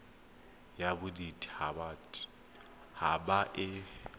ya bodit habat haba e